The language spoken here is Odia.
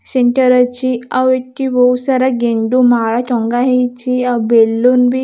ସିଣ୍ଟର ଅଛି ଆଉ ଏଠି ବହୁତ ସାରା ଗେଣ୍ଡୁମାଳ ଟଙ୍ଗାହେଇଛି ଆଉ ବେଲୁନ ବି --